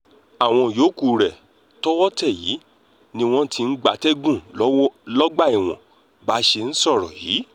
àwọn yòókù rẹ̀ tọwọ́ tẹ̀ yìí ni wọ́n ti ń gbatẹ́gùn lọ́gbà ẹ̀wọ̀n bá a ṣe ń sọ yìí